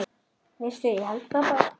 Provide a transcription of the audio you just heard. Veistu, ég held það bara.